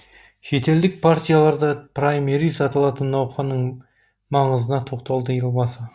шетелдік партияларда праймериз аталатын науқанның маңызына тоқталды елбасы